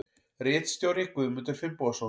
Ritstjóri Guðmundur Finnbogason.